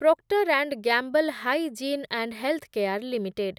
proctor and Gamble Hygiene and Health Care limited